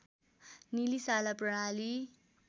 निलिशाला प्रणाली